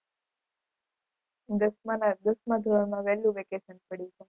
દસમાના દસમા ધોરણમાં વહેલું વેકેશન પડી જાય.